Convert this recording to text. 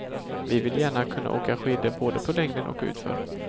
Vi vill gärna kunna åka skidor både på längden och utför.